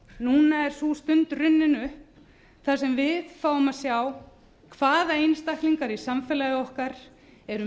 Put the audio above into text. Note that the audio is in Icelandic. núna er sú stund runnin upp þar sem við fáum að sjá hvaða einstaklingar í samfélagi okkar eru